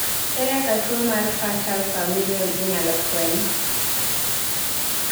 ere kaka tuwo mar fatal familial inyalo fweny?